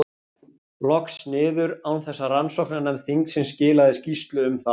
loks niður, án þess að rannsóknarnefnd þingsins skilaði skýrslu um það.